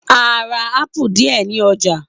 A rá ápù díẹ ní ọjà.